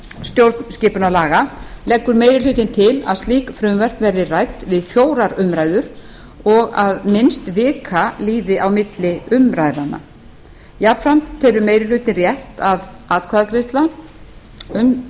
stjórnskipunarlaga leggur meiri hlutinn til að slík frumvörp verði rædd við fjórar umræður og að minnst vika líði á milli umræðnanna jafnframt telur meiri hlutinn rétt að atkvæðagreiðsla um